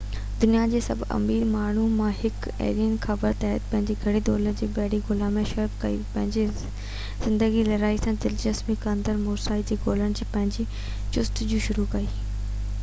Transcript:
دنيا جي سڀني امير ماڻهن مان هڪ ايلن خبر تحت پنهنجي گهڻي دولت بحري ڳولا ۾ سيڙپ ڪئي ۽ سڄي زندگي لڙائي سان دلچسپي رکندڙ موساشي کي ڳولڻ جي پنهنجي جستجو شروع ڪئي